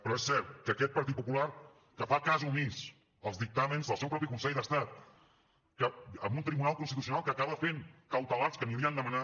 però és cert que aquest partit popular que fa cas omís dels dictàmens del seu propi consell d’estat amb un tribunal constitucional que acaba fent cautelars que ni havien demanat